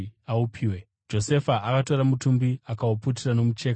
Josefa akatora mutumbi akauputira nomucheka wakachena,